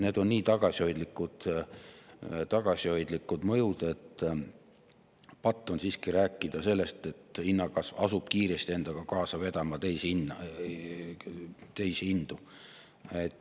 See on nii tagasihoidlik mõju, et patt on rääkida sellest, et see hinnakasv asub endaga kiiresti kaasa vedama teisi hindu.